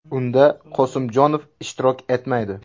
Unda Qosimjonov ishtirok etmaydi.